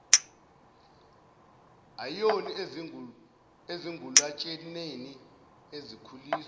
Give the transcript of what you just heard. ayoni ezingulutshaneni ezikhuliswa